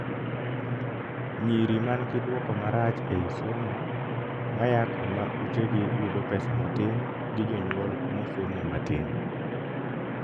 nyiri mangi duoko marach ei somo , maya kuma utegi yudo pesa matin gi jonyuol mosomo matin